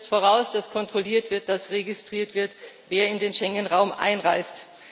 Es setzt voraus, dass kontrolliert wird, dass registriert wird, wer in den Schengen Raum einreist.